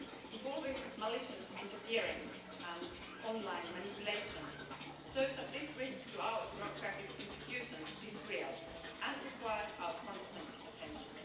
Evolving malicious interference and online manipulation shows that this risk to our democratic institutions is real and requires our constant attention.